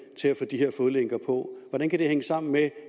til at få de her fodlænker på og hvordan kan det hænge sammen med